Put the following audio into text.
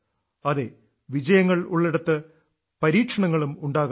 അതെ വിജയങ്ങൾ ഉള്ളിടത്ത് പരീക്ഷണങ്ങളും ഉണ്ടാകാറുണ്ട്